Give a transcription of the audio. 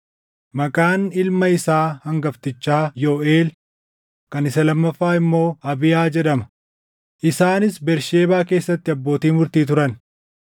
Maqaan ilma isaa hangaftichaa Yooʼeel, kan isa lammaffaa immoo Abiyaa jedhama; isaanis Bersheebaa keessatti abbootii murtii turan.